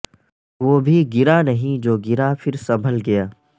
وہ بھی گرا نہیں جو گرا پھر سنبھل گیا